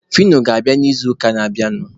Fino ga-abịa n'izuụka na-abịanụ.